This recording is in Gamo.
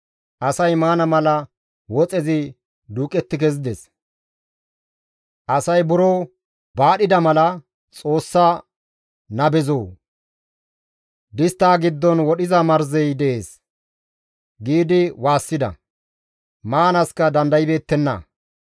Asay maana mala woxezi duuqetti kezides; asay buro baadhida mala, «Xoossa nabezoo! Disttaa giddon wodhiza marzey dees!» giidi waassida; maanaaska dandaybeettenna.